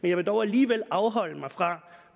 jeg vil dog alligevel afholde mig fra